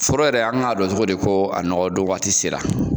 Foro yɛrɛ an k'a don cogodi ko a nɔgɔ don waati sera.